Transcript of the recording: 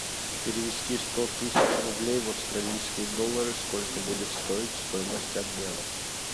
перевести сто тысяч рублей в австралийские доллары сколько будет стоить стоимость обмена